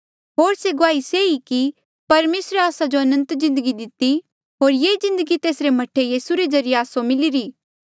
होर से गुआही से ई कि परमेसरे आस्सा जो अनंत जिन्दगी दिती होर ये जिन्दगी तेसरे मह्ठे यीसू रे ज्रीए आस्सो मिलिरा